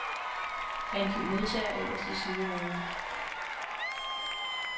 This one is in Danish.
Angiv modtager øverst i sidehovedet.